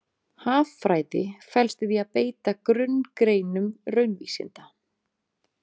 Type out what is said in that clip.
Haffræði felst í því að beita grunngreinum raunvísinda.